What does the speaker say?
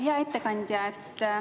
Hea ettekandja!